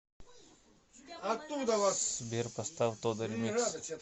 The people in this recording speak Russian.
сбер поставь тода ремикс